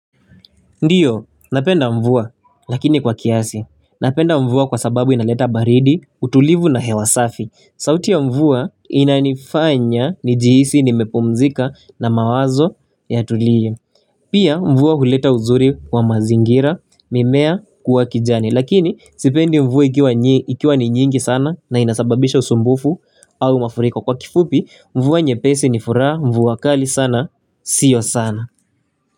Ndiyo, napenda mvua, lakini kwa kiasi. Napenda mvua kwa sababu inaleta baridi, utulivu na hewasafi. Sauti ya mvua inanifanya ni jihisi ni mepumzika na mawazo ya tulie. Pia mvua huleta uzuri wa mazingira, mimea kuwa kijani. Lakini, sipendi mvua ikiwa ni nyingi sana na inasababisha usumbufu au mafuriko. Kwa kifupi, mvua nye pesi ni furaha, mvua kali sana, sio sana.